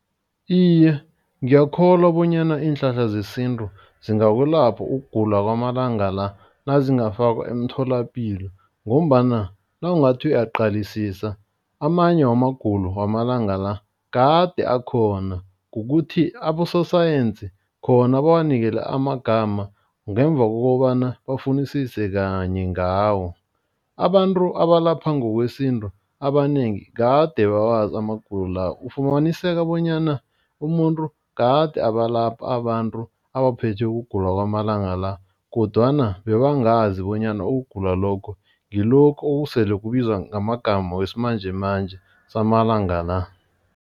Iye, ngiyakholwa bonyana iinhlahla zesintu zingakulapha ukugula kwamalanga la nazingafakwa emtholapilo. Ngombana nawungathi uyaqalisisa amanye wamagulo wamalanga la kade akhona. Kukuthi abososayensi khona bawanikele amagama ngemva kokobana bafunisise kanye ngawo. Abantu abalapha ngokwesintu abanengi kade bawazi amagulo la. Ufumaniseka bonyana umuntu kade abalapha abantu abaphethwe kugula kwamalanga la kodwana bebangazi bonyana ukugula lokho ngilokhu okusele kubizwa ngamagama wesimanjemanje samalanga la.